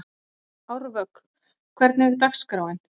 Árvök, hvernig er dagskráin?